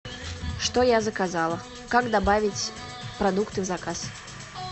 что я заказала как добавить продукты в заказ